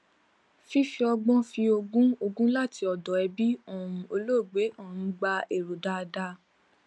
fífi ọgbón fi ogún ogún láti ọdọ ẹbí um olóògbé um gba èrò dáadáa